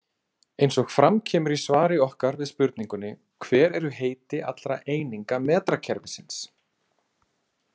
Eins og fram kemur í svari okkar við spurningunni Hver eru heiti allra eininga metrakerfisins?